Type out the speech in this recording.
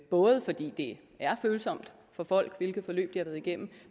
både fordi det er følsomt for folk hvilke forløb de har været igennem